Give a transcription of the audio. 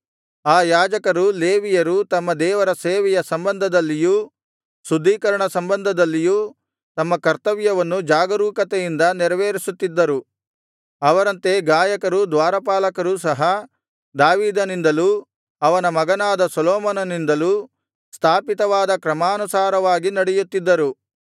ಆ ಯಾಜಕರೂ ಲೇವಿಯರೂ ತಮ್ಮ ದೇವರ ಸೇವೆಯ ಸಂಬಧದಲ್ಲಿಯೂ ಶುದ್ಧೀಕರಣ ಸಂಬಂಧದಲ್ಲಿಯೂ ತಮ್ಮ ಕರ್ತವ್ಯವನ್ನು ಜಾಗರೂಕತೆಯಿಂದ ನೆರವೇರಿಸುತ್ತಿದ್ದರು ಅವರಂತೆ ಗಾಯಕರೂ ದ್ವಾರಪಾಲಕರೂ ಸಹ ದಾವೀದನಿಂದಲೂ ಅವನ ಮಗನಾದ ಸೊಲೊಮೋನನಿಂದಲೂ ಸ್ಥಾಪಿತವಾದ ಕ್ರಮಾನುಸಾರವಾಗಿ ನಡೆಯುತ್ತಿದ್ದರು